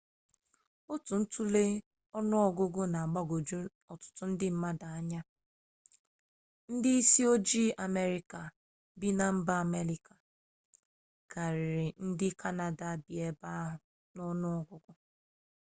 otu ntule ọnụ ọgụgụ na-agbagwoju ọtụtụ ndị mmadụ anya ndị isi ojii amerịka bi na mba amerịka karịrị ndị kanada bi ebe ahụ n'ọnụ ọgụgụ